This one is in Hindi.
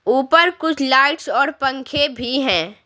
ऊपर कुछ लाइट्स और पंखे भी हैं।